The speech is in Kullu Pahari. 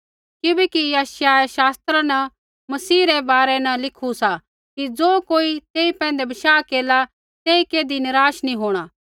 किबैकि यशायाहे शास्त्रा न मसीह रै बारै न लिखू सा कि ज़ो कोई तेई पैंधै बशाह केरला तेई कैधी निराश नी होंणा